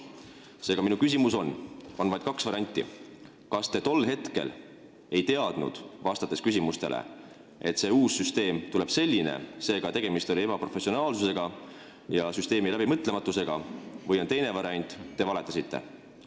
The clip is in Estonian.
Seega on vaid kaks varianti, millest tuleneb ka minu küsimus: kas te tol hetkel küsimustele vastates ei teadnud, et uus süsteem tuleb selline, st tegemist oli ebaprofessionaalsuse ja süsteemi läbimõtlematusega, või te valetasite?